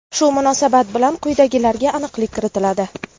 Shu munosabat bilan quyidagilarga aniqlik kiritiladi.